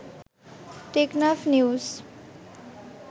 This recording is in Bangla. টেকনাফ নিউজ